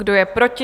Kdo je proti?